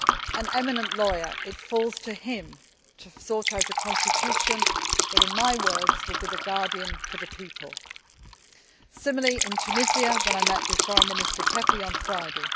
An eminent lawyer, it falls to him to sort out a constitution that, in my words, will be the guardian for the people'. Similarly, in Tunisia, I met with Foreign Minister Kefi on Friday.